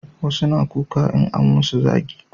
wasu na kuka in an musu zagi